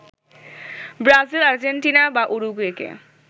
Brazil, Argentina বা উরুগুয়েকে